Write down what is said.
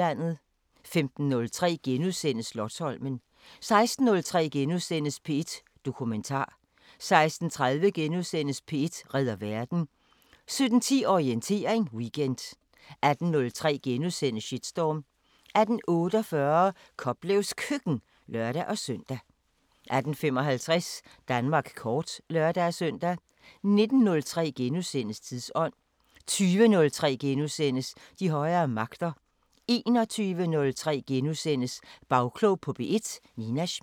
15:03: Slotsholmen * 16:03: P1 Dokumentar * 16:30: P1 redder verden * 17:10: Orientering Weekend 18:03: Shitstorm * 18:48: Koplevs Køkken (lør-søn) 18:55: Danmark kort (lør-søn) 19:03: Tidsånd * 20:03: De højere magter * 21:03: Bagklog på P1: Nina Smith *